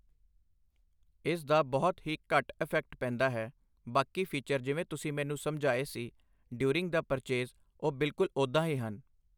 ਇਸ ਦਾ ਬਹੁਤ ਹੀ ਘੱਟ ਇਫੈਕਟ ਪੈਂਦਾ ਹੈ, ਬਾਕੀ ਫੀਚਰ ਜਿਵੇਂ ਤੁਸੀਂ ਮੈਨੂੰ ਸਮਝਾਏ ਸੀ, ਡਿਊਰਿੰਗ ਦਾ ਪ੍ਰਚੇਜ਼ ਉਹ ਬਿਲਕੁਲ ਉੱਦਾਂ ਹੀ ਹਨ